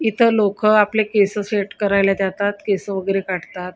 इथ लोक आपले केस सेट करायला जातात केस वगैरे काटतात.